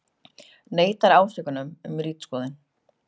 Neitar ásökunum um ritskoðun